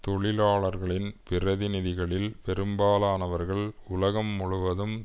தொழிலாளர்களின் பிரதிநிதிகளில் பெரும்பாலானவர்கள் உலகம் முழுவதும்